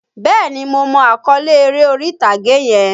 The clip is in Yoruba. Bẹ́ẹ̀ni, mo mọ àkọ́lé eré orí-ìtàgé yẹn.